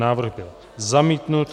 Návrh byl zamítnut.